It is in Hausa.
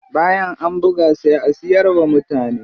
Bayan an buga sai a siyar wa mutane.